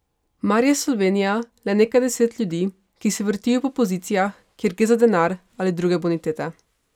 Mar je Slovenija le nekaj deset ljudi, ki se vrtijo po pozicijah, kjer gre za denar ali druge bonitete?